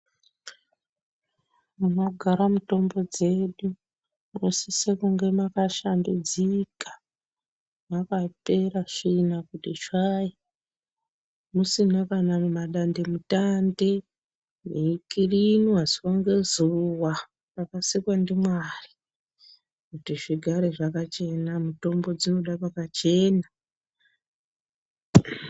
Munogara mitombo dzedu munosise kunge mwakashambidzika mwakapera tsvina kuti tsvai musina kana nemadandemutande mweikirinwa zuwa ngezuwa rakasikwa ndiMwari kuti zvigare zvakachena mitombo dzinoda pakachena.